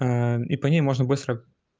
и по ней можно быстро